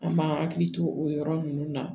An b'an hakili to o yɔrɔ nunnu na